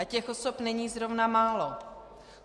A těch osob není zrovna málo.